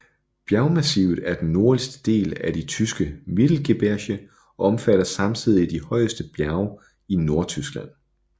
Bjergmassivet er den nordligste del af de tyske Mittelgebirge og omfatter samtidig de højeste bjerge i Nordtyskland